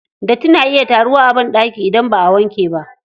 Datti na iya taruwa a banɗaki idan baʼa wankewa.